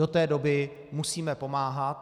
Do té doby musíme pomáhat.